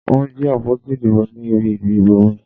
Wọ́n jí àpótí ìdìbò ní ibi ìdìbò mi.